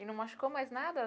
E não machucou mais nada?